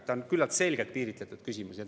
See on küllalt selgelt piiritletud küsimus.